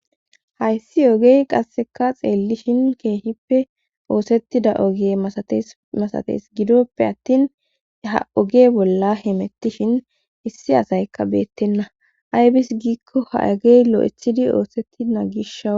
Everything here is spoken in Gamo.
Hayssi ogey qasseka xeellishin keehippe oosettida oge atemasatees gidoppe attin ha oge bolla hemettishin issi asaykka beettenna aybis giikko ha agey lo7ethidi oosetti naagishaw.